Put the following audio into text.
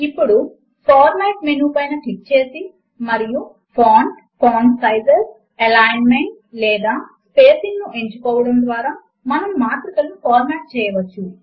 ఇప్పుడు format menu పైన click చేసి మరియు ఫాంట్ ఫాంట్ సైజ్స్ ఎలైన్మెంట్ లేదా స్పేసింగ్ ను ఎంచుకోవడము ద్వారా మనము మాత్రికలను ఫార్మాట్ చేయవచ్చు